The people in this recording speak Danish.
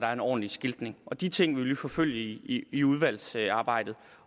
er en ordentlig skiltning de ting vil vi forfølge i i udvalgsarbejdet